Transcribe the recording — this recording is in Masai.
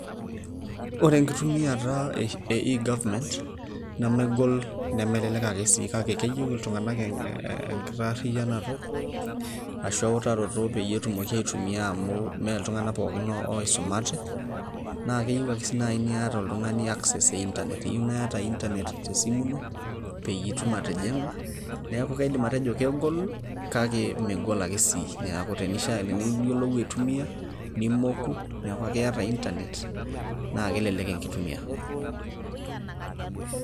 Ore enkitumiata e eGovernment nemegol nemelelek ake sii kake keyieu iltung'anak enkitaarrianoto ashua ewutaroto peyie etumoki aitumia amu mee iltung'anak pooki oisumate, naa keyieu ake sii naai niyata oltung'ani access e internet eyieu naa iyata internet tesimu ino peyie itum atijing'a. Neeku kaidim atejo kegol kake megol ake sii, neeku teniyieu niyiolou aitumia nimoku neeku ake iyata internet naa kelelek enkitumiata.